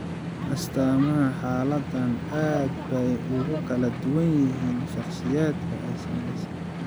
Astaamaha xaaladdan aad bay ugu kala duwan yihiin shakhsiyaadka ay saamaysay.